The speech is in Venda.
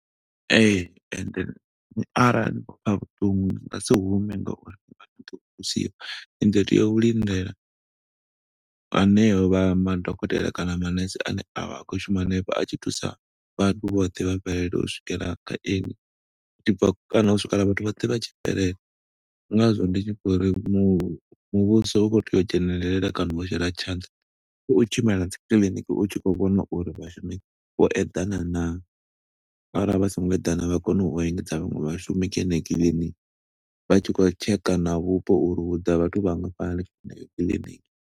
Ee, ende arali ni khou pfa vhuṱungu ni nga si hume nga uri ni vha to thusiwa. Ni ḓo teya u lindela hanevha vha madokotela kana manurse ane a vha a khou shuma hanefho, a tshi thusa vhathu vhoṱhe vha fhelela u swikela kha iṅwi. Zwi tshi bva, kana u swikela vhathu vhoṱhe vha tshi fhelela. Ndi nga zwo ndi tshi kho uri mu muvhuso u khou tea u dzhenelela kana wa shela tshaṋda. U tshi khou tshimbila dzi kiḽiniki u tshi khou vhona uri vhashumi vho eḓana naa, arali vha songo eḓana vha kone u engedza vhaṅwe vhashumi kha yeneyo kiḽiniki. Vha tshi khou tsheka na vhupo uri, hu ḓa vhathu vhangafhani kha heneyo kiḽiniki.